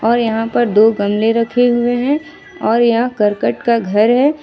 और यहां पर दो गमले रखे हुए हैं और यह करकट का घर है।